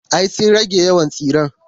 Ay sun rage yawan tsiren.